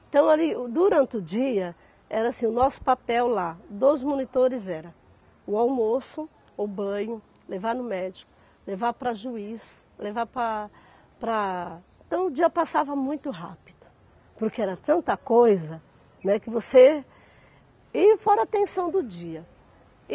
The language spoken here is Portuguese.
Então ali, o durante o dia, era assim, o nosso papel lá, dos monitores, era o almoço, o banho, levar no médico, levar para juiz, levar pa para... Então o dia passava muito rápido, porque era tanta coisa, né, que você E fora a tensão do dia.